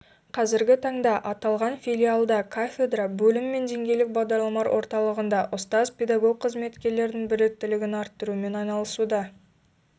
қазіргі таңда аталған филиалда кафедра бөлім мен деңгейлік бағдарламалар орталығында ұстаз-педагог қызметкерлердің біліктілігін арттырумен айналысуда